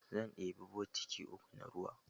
Zan ɗebi botiki uku na ruwa.